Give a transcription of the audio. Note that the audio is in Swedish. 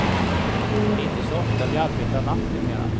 Det är inte så ofta vi arbetar natt numera.